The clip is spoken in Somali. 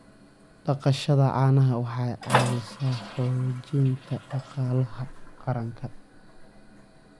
Dhaqashada caanaha waxay caawisaa xoojinta dhaqaalaha qaranka.